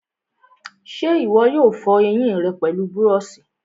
ṣé ìwọ yóò fọ ẹyìn rẹ pẹlú búrọ̀sì?